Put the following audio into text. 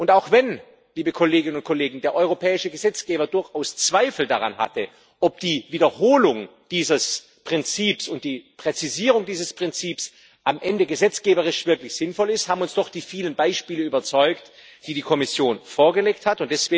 Und auch wenn der europäische Gesetzgeber durchaus Zweifel daran hatte, ob die Wiederholung dieses Prinzips und die Präzisierung dieses Prinzips am Ende gesetzgeberisch wirklich sinnvoll ist, haben uns doch die vielen Beispiele überzeugt, die die Kommission vorgelegt hat.